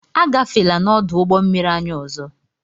Agafela n'ọdụ ụgbọmmiri anyị ọzọ!